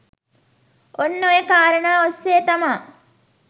ඔන්න ඔය කාරණා ඔස්සේ තමා